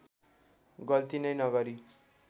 गल्ती नै नगरी